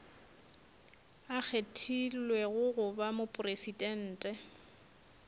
a kgethilwego go ba mopresidente